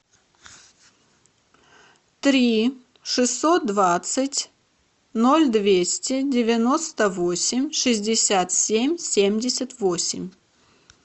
три шестьсот двадцать ноль двести девяносто восемь шестьдесят семь семьдесят восемь